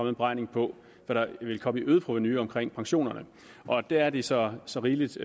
en beregning på hvad der vil komme i øget provenu omkring pensionerne der er det så så rigeligt